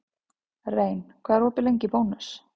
Rein, hvað er opið lengi í Bónus?